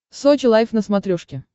сочи лайф на смотрешке